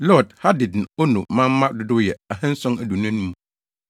Lod, Hadid ne Ono manmma dodow yɛ 2 725 1